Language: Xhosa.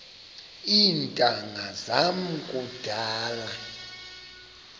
iintanga zam kudala